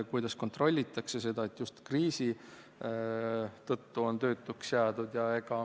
Kuidas kontrollitakse seda, et just kriisi tõttu on töötuks jäädud?